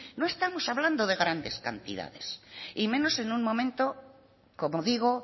no estamos hablando de grandes cantidades y menos en un momento como digo